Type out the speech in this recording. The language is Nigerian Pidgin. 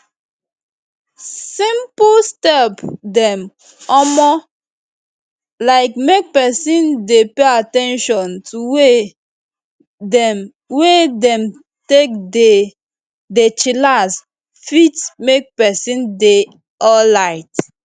simple step dem omo like make peson dey pay at ten tion to way dem wey dem take dey dey chillax fit make peson dey alrite